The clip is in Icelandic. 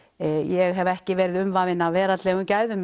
ég hef ekki verið umvafin meira af veraldlegum gæðum